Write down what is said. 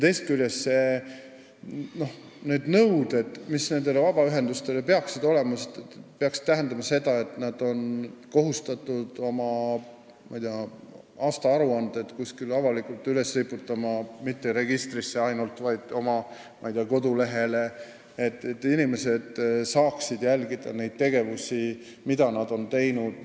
Teisest küljest peaksid nõuded nendele vabaühendustele tähendama seda, et nad on kohustatud oma aastaaruanded kuskile avalikult üles riputama – mitte ainult registrisse, vaid oma kodulehele –, et inimesed saaksid jälgida neid tegevusi, mida nad on teinud.